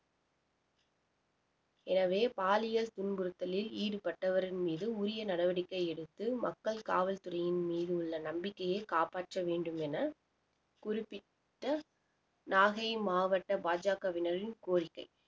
எனவே பாலியல் துன்புறுத்தலில் ஈடுபட்டவரின் மீது உரிய நடவடிக்கை எடுத்து மக்கள் காவல்துறையின் மீது உள்ள நம்பிக்கைய காப்பாற்ற வேண்டும் என குறிப்பிட்ட நாகை மாவட்ட பாஜகவினரின் கோரிக்கை